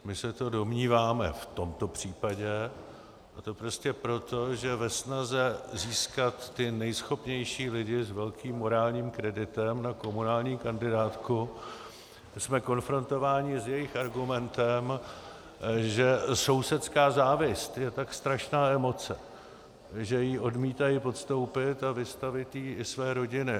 My se to domníváme v tomto případě, a to prostě proto, že ve snaze získat ty nejschopnější lidi s velkým morálním kreditem na komunální kandidátku jsme konfrontováni s jejich argumentem, že sousedská závist je tak strašná emoce, že ji odmítají podstoupit a vystavit jí i své rodiny.